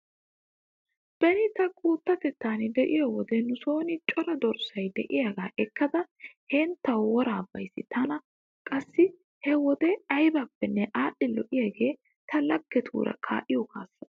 Beni ta guuttatettan de'iyo wode nuson cora dorssay diyagaa ekkada henttawu woraa bays. Tana qassi he wode aybippenne aadhdhi lo'iyagee ta laggetuura kaa'iyo kaassaa.